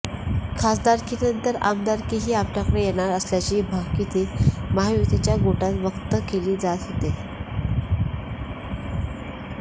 खासदारकीनंतर आमदारकीही आपल्याकडे येणार असल्याची भाकीते महायुतीच्या गोटात व्यक्त केली जात होती